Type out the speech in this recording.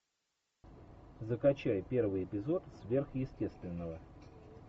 закачай первый эпизод сверхъестественного